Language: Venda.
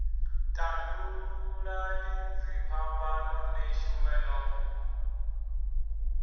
tandululani dziphambano ni shume no